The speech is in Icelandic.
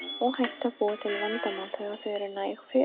Og hættu að búa til vandamál þegar þau eru næg fyrir.